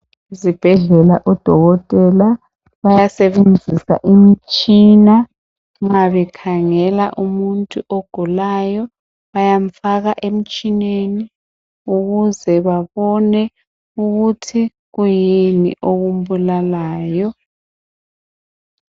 Ezibhedlela odokotela bayasebenzisa imitshina nxa bekhangela umuntu ogulayo bayamfaka emtshineni ukuze babone ukuthi kuyini okumbulalayo.